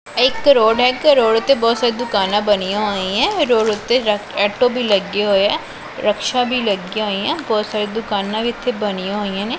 ਇਹ ਇੱਕ ਰੋਡ ਹੈ ਇੱਥੇ ਰੋਡ ਤੇ ਉੱਤੇ ਬੜੀ ਸਾਰੀ ਦੁਕਾਨਾਂ ਬਣੀਆਂ ਹੋਈਐਂ ਰੋਡ ਉੱਤੇ ਐਟੋ ਵੀ ਲੱਗੇ ਹੋਏ ਐ ਰਕਸ਼ਾ ਵੀ ਲੱਗੀਆਂ ਹੋਈਐਂ ਬਹੁਤ ਸਾਰੀਆਂ ਦੁਕਾਨਾਂ ਵੀ ਇੱਥੇ ਬਣੀਆਂ ਹੋਈਆਂ ਨੇ।